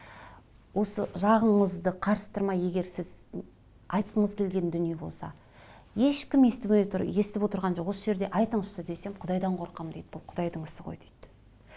осы жағыңызды қарыстырмай егер сіз айтқыңыз келген дүние болса ешкім естімей отыр естіп отырған жоқ осы жерде айтыңызшы десем құдайдан қорқамын дейді бұл құдайдың ісі ғой дейді